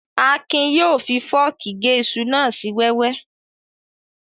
Akin yóò fi fọ́ọ̀kì gé iṣu náà sí wẹ́wẹ́